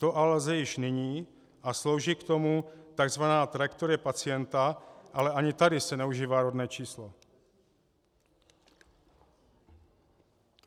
To ale lze již nyní a slouží k tomu tzv. trajektorie pacienta, ale ani tady se neužívá rodné číslo.